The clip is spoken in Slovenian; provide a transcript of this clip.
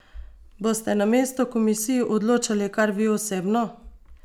Boste namesto komisij odločali kar vi osebno?